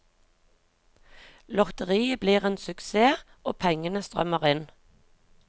Lotteriet blir en suksess og pengene strømmer inn.